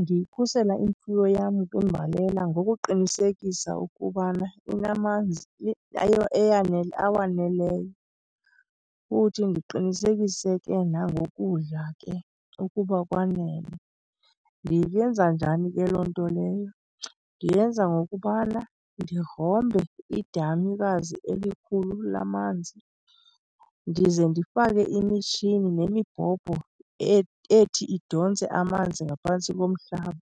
Ndiyikhusela imfuyo yam kwimbalela ngokuqinisekisa ukubana inamanzi awaneleyo, futhi ndiqinisekise ke nangokudla ke ukuba kwanele. Ndiyenza njani ke loo nto leyo? Ndiyenza ngokubana ndigrombe idamikazi elikhulu lamanzi ndize ndifake imitshini nemibhobho ethi idontse amanzi ngaphantsi komhlaba,